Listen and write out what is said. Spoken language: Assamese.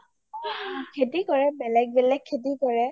খেতি কৰে বেলেগ বেলেগ খেতি কৰে